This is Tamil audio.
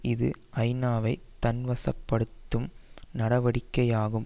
இது ஐநாவை தன் வசப்படுத்தும் நடவடிக்கையாகும்